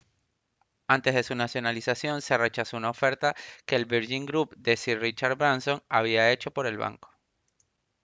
antes de su nacionalización se rechazó una oferta que el virgin group de sir richard branson había hecho por el banco